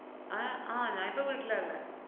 ഏർ ആഹ് ഞാനിപ്പ വീട്ടിലാള്ളെ.